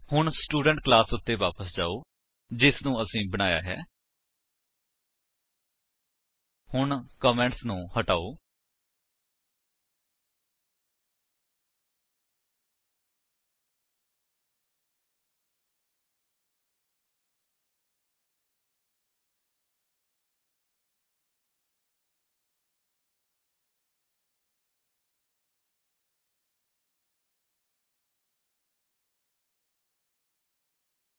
ਹੁਣ student class ਉੱਤੇ ਵਾਪਸ ਜਾਓ ਜਿਨੂੰ ਅਸੀਂ ਬਣਾਇਆ ਹੈ